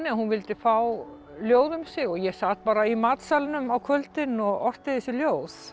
að hún vildi fá ljóð um sig og ég sat bara í matsalnum á kvöldin og orti þessi ljóð